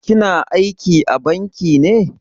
Ki na aiki a banki ne?